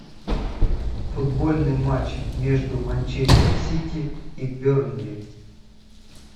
футбольный матч между манчестер сити и бернли